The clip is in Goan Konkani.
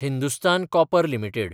Hindustan copper limited